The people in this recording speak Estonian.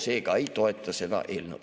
Seega ei toeta seda eelnõu.